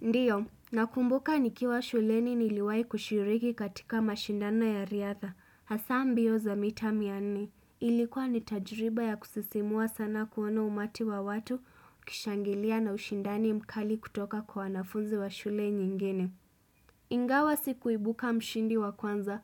Ndiyo, nakumbuka nikiwa shuleni niliwai kushiriki katika mashindano ya riadha, hasa mbio za mita mia nne. Ilikuwa ni tajiriba ya kusisimua sana kuona umati wa watu ukishangilia na ushindani mkali kutoka kwa wanafunzi wa shule nyingine. Ingawa sikuibuka mshindi wa kwanza,